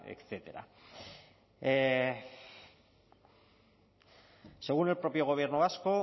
etcétera según el propio gobierno vasco